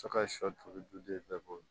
Sɔ ka sɔli duden bɛɛ bɔ